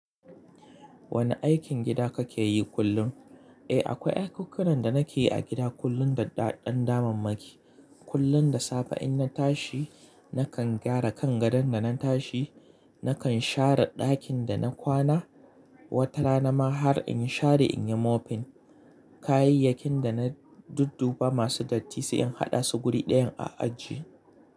Wane aikin gida kake yi kullum? Eh, akwai aikukunan da nake yi a gida kullum da ɗaɗan damammaki. Kullum da safe in na tashi nakan gyara kan gadon da na tashi, nakan share ɗakin da na kwana. Wata rana ma har in share in yi mopping. Kayayyakin da na dudduba masu datti sai in haɗa su wuri ɗayan a ajiye.